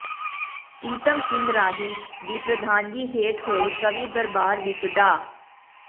ਪ੍ਰੀਤਮ ਸਿੰਘ ਰਾਹੀ ਦੀ ਪ੍ਰਧਾਨਗੀ ਹੇਠ ਹੋਏ ਕਵੀ ਦਰਬਾਰ ਵਿਚ ਡਾ